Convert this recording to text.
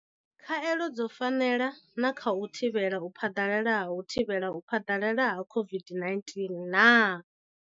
Khaelo dzo fanela na kha u thivhela u phaḓalala ha u thivhela u phaḓalala ha COVID-19 nah?